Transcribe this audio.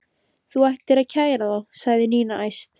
Þú ættir að kæra þá sagði Nína æst.